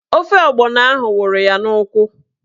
Ofe ọgbọnọ ahụ wụrụ ya n'ụkwụ